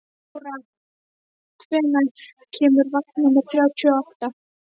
Ára, hvenær kemur vagn númer þrjátíu og átta?